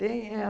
Tem é